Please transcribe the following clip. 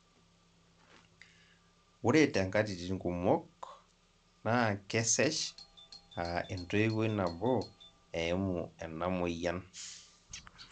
ore te nkatitin kumok naa kesesh aa entowoi nabo eimu ena moyian